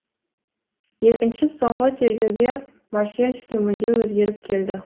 екінші соңғы тергеуге марселский мүлде өзгеріп келді